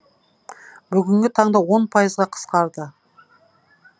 бүгінгі таңда они пайызға қысқарды